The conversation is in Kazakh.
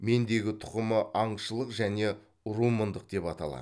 мендегі тұқымы аңшылық және румындық деп аталады